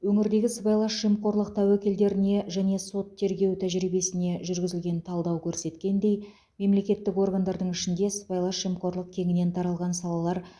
өңірдегі сыбайлас жемқорлық тәуекелдеріне және сот тергеу тәжірибесіне жүргізілген талдау көрсеткендей мемлекеттік органдардың ішінде сыбайлас жемқорлық кеңінен таралған салалар